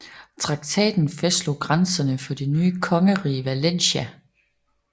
Traktaten fastslog grænserne for det nye kongerige Valencia